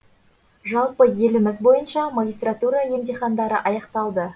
жалпы еліміз бойынша магистратура емтихандары аяқталды